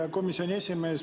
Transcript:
Hea komisjoni esimees!